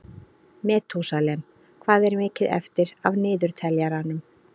Metúsalem, hvað er mikið eftir af niðurteljaranum?